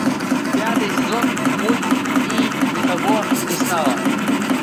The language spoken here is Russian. пятый сезон мульт и никого не стало